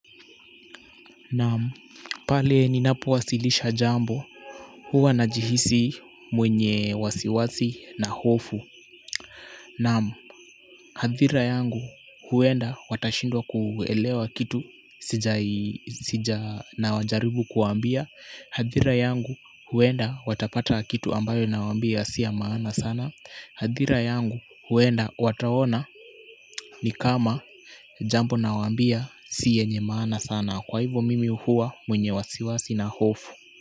Naam, pale ninapowasilisha jambo huwa ninajihisi mwenye wasiwasi na hofu. Naam, hadhira yangu huenda watashindwa kuelewa kitu sijai na wajaribu kuambia. Hadhira yangu huenda watapata kitu ambayo naawambia si ya maana sana. Hadhira yangu huenda wataona ni kama jambo naawambia si yenye maana sana kwa hivo mimi huwa mwenye wasiwasi na hofu.